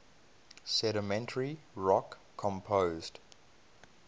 sedimentary rock composed